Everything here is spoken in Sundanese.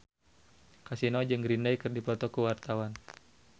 Kasino jeung Green Day keur dipoto ku wartawan